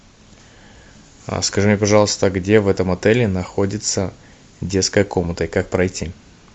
скажи мне пожалуйста где в этом отеле находится детская комната и как пройти